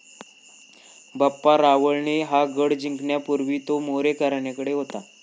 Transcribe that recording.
बाप्पा रावळ ने हा गढ जिंकण्यापूर्वी तो मोरी घरण्याकडे होता.